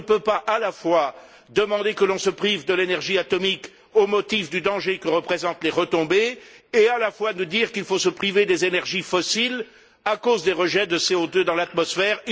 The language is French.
On ne peut pas à la fois demander que l'on se prive de l'énergie atomique au motif du danger que représentent les retombées et nous dire en même temps qu'il faut se priver des énergies fossiles à cause des rejets de CO2 dans l'atmosphère.